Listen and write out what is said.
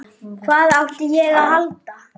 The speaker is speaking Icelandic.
Hvað átti ég að halda?